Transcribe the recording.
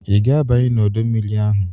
Ị ga-abanye n'ọdọ mmiri ahụ?